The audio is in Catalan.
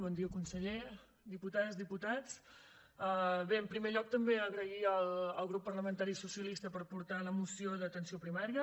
bon dia conseller diputades diputats bé en primer lloc també agrair al grup parlamentari socialista per portar la moció d’atenció primària